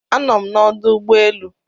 anọm na ọdụ ụgbọ elu